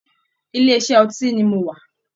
Ilé iṣẹ́ ọtí ni mo wà